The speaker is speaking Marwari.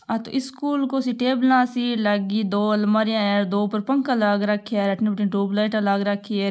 आ तो स्कुल को टेबला सी लागी दो अलमारिया है दो ऊपर पंखा लाग राख्या अठीन बठीन ट्यूबलाइट लाग राखी है।